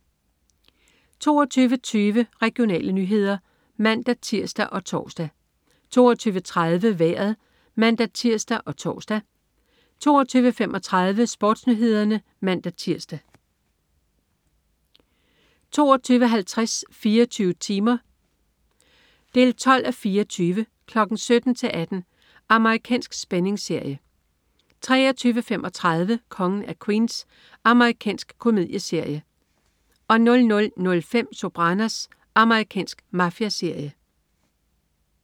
22.20 Regionale nyheder (man-tirs og tors) 22.30 Vejret (man-tirs og tors) 22.35 SportsNyhederne (man-tirs) 22.50 24 timer 12:24. 17:00-18:00. Amerikansk spændingsserie 23.35 Kongen af Queens. Amerikansk komedieserie 00.05 Sopranos. Amerikansk mafiaserie